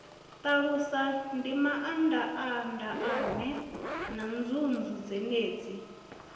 ṱalusa mindaandaane na nzunzu dzenedzi